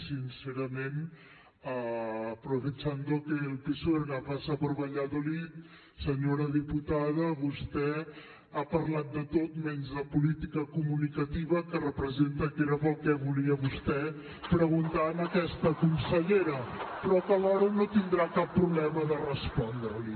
sincerament aprovechando que el pisuerga pasa por valladolid senyora diputada vostè ha parlat de tot menys de política comunicativa que representa que era pel que volia vostè preguntar a aquesta consellera però que alhora no tindrà cap problema de respondre li